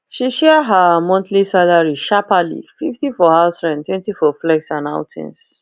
she share her monthly salary sharperly fifty for house rent twenty for flex and outings